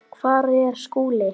Hvar er Skúli?